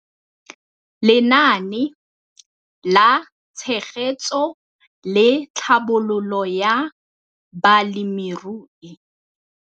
Lenaane la Tshegetso le Tlhabololo ya Balemirui.